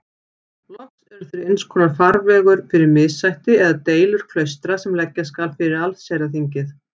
Loks eru þeir einskonar farvegur fyrir missætti eða deilur klaustra sem leggja skal fyrir allsherjarþingið.